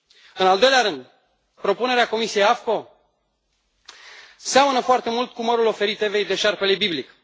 În al doilea rând, propunerea comisiei AFCO seamănă foarte mult cu mărul oferit Evei de șarpele biblic.